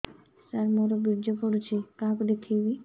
ସାର ମୋର ବୀର୍ଯ୍ୟ ପଢ଼ୁଛି କାହାକୁ ଦେଖେଇବି